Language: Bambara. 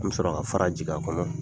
N mi sɔrɔ ka fara jigin a kɔnɔ